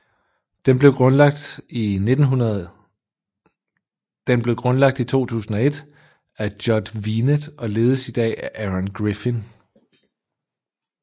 Den blev grundlagt i 2001 af Judd Vinet og ledes i dag af Aaron Griffin